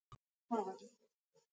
Hún er fín í þetta hún amma.